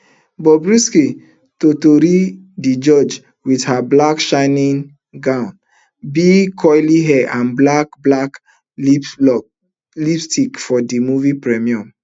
bobrisky totori di judge wit her black shiny gown big curly hair and black black lipstick for di movie premiere